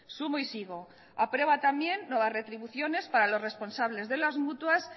sumo y sigo aprueba también nuevas retribuciones para los responsables de las mutuas